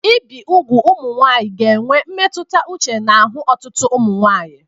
Ibi ugwu nke ụmụ nwanyị ga-enwe mmetụta uche n'ahụ ọtụtụ ụmụ nwanyị